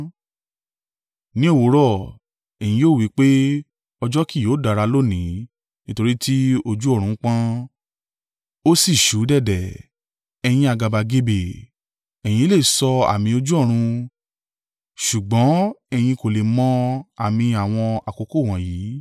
Ní òwúrọ̀, ‘Ẹ̀yin yóò wí pé ọjọ́ kì yóò dára lónìí, nítorí ti ojú ọ̀run pọ́n, ó sì ṣú dẹ̀dẹ̀,’ ẹ̀yin àgàbàgebè, ẹ̀yin le sọ àmì ojú ọ̀run, ṣùgbọ́n ẹ̀yin kò le mọ àmì àwọn àkókò wọ̀nyí.